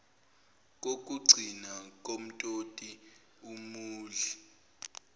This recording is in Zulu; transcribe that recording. kokugcina kumtoti umudli